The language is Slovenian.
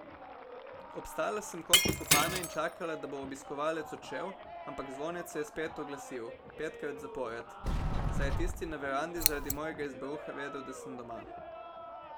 Obstala sem kot vkopana in čakala, da bo obiskovalec odšel, ampak zvonec se je spet oglasil, petkrat zapored, saj je tisti na verandi zaradi mojega izbruha vedel, da sem doma.